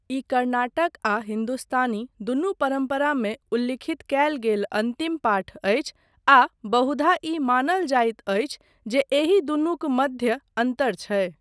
ई कर्नाटक आ हिन्दुस्तानी दुनू परम्परामे उल्ल्खित कयल गेल अन्तिम पाठ अछि आ बहुधा ई मानल जाइत अछि जे एहि दुनूक मध्य अन्तर छै।